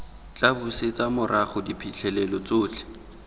tla busetsa morago diphitlhelelo tsotlhe